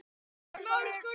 Eftir Sverri Berg.